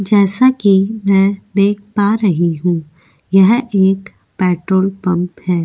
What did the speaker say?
जैसा कि मैं देख पा रही हूं यह एक पेट्रोल पंप है।